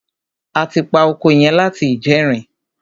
A ti pa oko yẹn láti ìjẹrin.